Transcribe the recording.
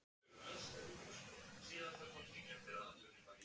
Björn Þorláksson: Þú telur að lífstíllinn breytist í kreppunni?